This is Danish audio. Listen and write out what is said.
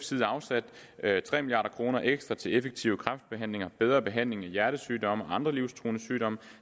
side afsat tre milliard kroner ekstra til effektiv kræftbehandling bedre behandling af hjertesygdomme og andre livstruende sygdomme